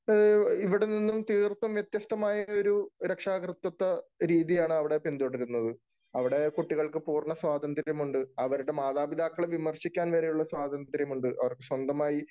അത് ഇവിടെ നിന്നും തീർത്തും വ്യത്യസ്തമായ ഒരു രക്ഷാ കർതൃത്വരീതിയാണ് അവിടെ പിന്തുടരുന്നത്. അവിടെ കുട്ടികൾക്ക് പൂർണ്ണ സ്വാതന്ത്ര്യം ഉണ്ട്. അവരുടെ മാതാപിതാക്കളെ വിമർശിക്കാൻ വരെ ഉള്ള സ്വാതന്ത്യം ഉണ്ട്. അവർക്കു സ്വന്തമായി